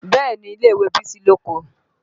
Bẹ́ẹ̀ni ilé ìwé Bísí lóko